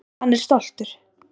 Hann er stoltur.